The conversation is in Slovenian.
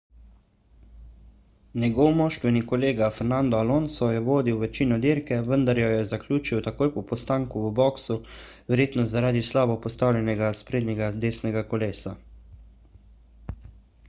njegov moštveni kolega fernando alonso je vodil večino dirke vendar jo je zaključil takoj po postanku v boksu verjetno zaradi slabo postavljenega sprednjega desnega kolesa